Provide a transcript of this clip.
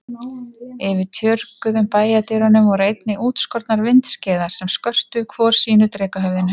Yfir tjörguðum bæjardyrunum voru einnig útskornar vindskeiðar sem skörtuðu hvor sínu drekahöfðinu.